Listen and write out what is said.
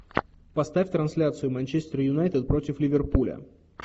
поставь трансляцию манчестер юнайтед против ливерпуля